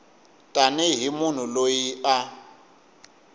tani hi munhu loyi a